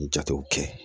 Jatew kɛ